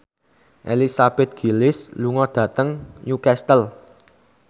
Elizabeth Gillies lunga dhateng Newcastle